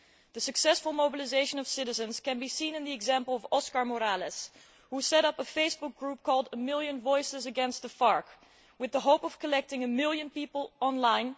The successful mobilisation of citizens can be seen in the example of Oscar Morales, who set up a Facebook group called A million voices against the FARC' with the hope of collecting one million people online.